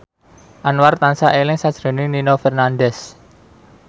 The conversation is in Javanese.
Anwar tansah eling sakjroning Nino Fernandez